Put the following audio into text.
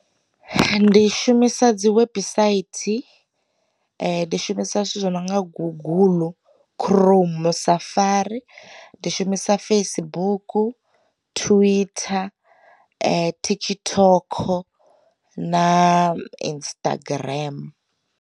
Ndi shumisa dzi website, ndi shumisa zwithu zwi nonga guguḽu khuroumu, safari, ndi shumisa Facebook, Twitter, TikTok na Instagram.